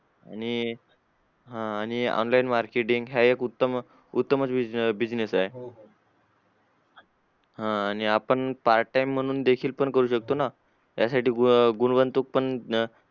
आणि आह आणि online marketing हा एक उत्तम उत्तम business आहे आणि आपण part time म्हणून देखील करू शकतो ना त्यासाठी